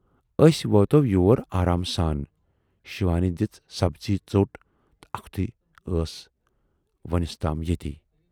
""ٲسۍ واتَو یور آرامہٕ سان، شِوانی دِژ سبزی ژوٹ اَکھتُے ٲس وُنِس تام ییتی۔